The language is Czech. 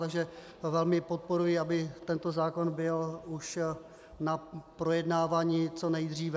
Takže velmi podporuji, aby tento zákon byl už na projednávání co nejdříve.